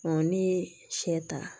n'i ye sɛ ta